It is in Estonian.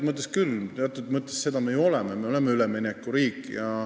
Mõnes mõttes me ju seda oleme – me oleme üleminekuriik.